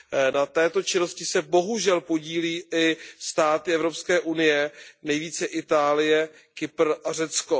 Na této činnosti se bohužel podílí i státy EU, nejvíce Itálie, Kypr a Řecko.